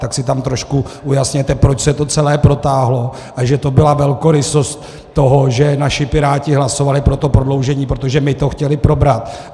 Tak si tam trošku ujasněte, proč se to celé protáhlo a že to byla velkorysost toho, že naši Piráti hlasovali pro to prodloužení, protože my to chtěli probrat.